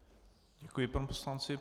Děkuji panu poslanci.